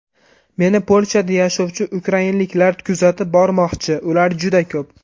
Meni Polshada yashovchi ukrainaliklar kuzatib bormoqchi, ular juda ko‘p.